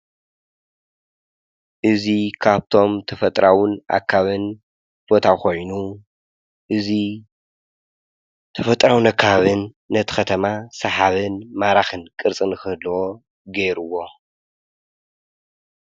እዚ ካብቶም ተፈጥሮን ኣከባብን ቦታ ኾይኑ እዙይ ተፈጥሮን ኣከባብን ነቲ ኸተማ ሰሓብን ማራኽን ቅርፂ ንኽህልዎ ገይሩዎ፡፡